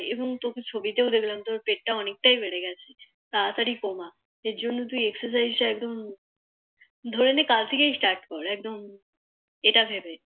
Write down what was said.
এমনি তোকে ছবি তেওঁ দেখলাম তোর পেট টা অনেক টাই বেড়ে গেছে তাড়াতাড়ি কমা এর জন্য তুই Exercise টা একদম ধরে নে কাল থেকেই Start কর একদম এটা ভেবে